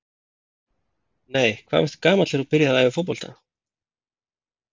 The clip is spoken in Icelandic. Nei Hvað varstu gamall þegar þú byrjaðir að æfa fótbolta?